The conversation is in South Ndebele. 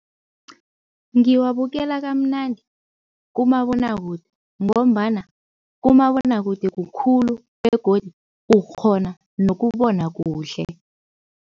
Ngiwabukela kamnandi kumabonwakude ngombana kumabonwakude kukhulu begodu ukghona nokubona kuhle.